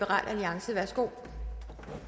skal have